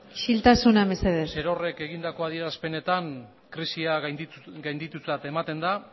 isiltasuna mesedez egindako adierazpenetan krisia gainditutzat ematen da